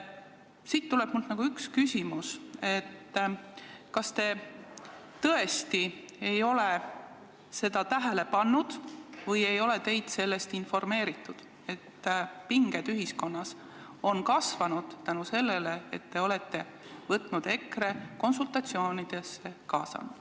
Nii on mul tekkinud küsimus, kas te tõesti ei ole seda tähele pannud või ei ole teid informeeritud, et pinged ühiskonnas on seetõttu kasvanud, et te olete EKRE konsultatsioonidesse kaasanud.